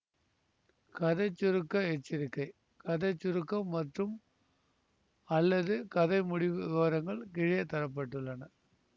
கதை சுருக்க எச்சரிக்கை கதை சுருக்கம் மற்றும்அல்லது கதை முடிவு விவரங்கள் கீழே தர பட்டுள்ளன